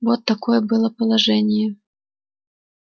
вот какое было положение